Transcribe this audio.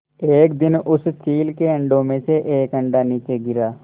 एक दिन उस चील के अंडों में से एक अंडा नीचे गिरा